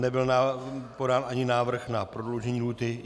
Nebyl podán ani návrh na prodloužení lhůty.